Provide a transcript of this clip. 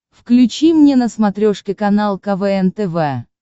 включи мне на смотрешке канал квн тв